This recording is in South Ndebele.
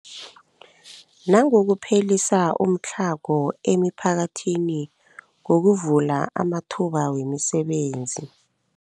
Nangokuphelisa umtlhago emiphakathini ngokuvula amathuba wemisebenzi.